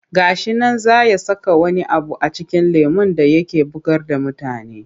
Ga shi nan zai saka wani abu a cikin lemon da yake bugar da mutane.